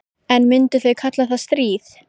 En myndu þau kalla það stríð?